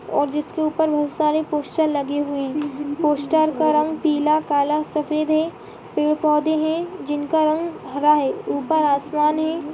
और जिस के ऊपर बहुत सारे पोस्टर लगे हुए है पोस्टर का रंग पीला काला सफ़ेद है पेड़ पोधे है जिन का रंग हरा है ऊपर आसमान है। ]